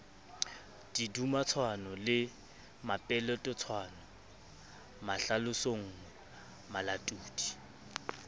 didumatshwano le mepeletotshwano mahlalosonngwe malatodi